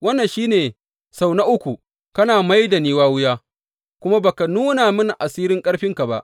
Wannan shi ne sau na uku kana mai da ni wawiya kuma ba ka nuna mini asirin ƙarfinka ba.